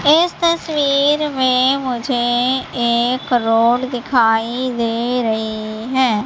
इस तस्वीर में मुझे एक रोड दिखाई दे रही हैं।